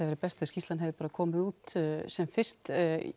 verið best ef skýrslan hefði komið út sem fyrst